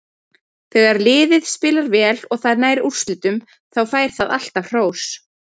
Þegar liðið spilar vel og það nær úrslitum, þá fær það alltaf hrós.